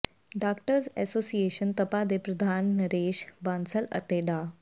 doctors association Tapa ਦੇ ਪ੍ਰਧਾਨ ਨਰੇਸ਼ ਬਾਂਸਲ ਅਤੇ ਡਾ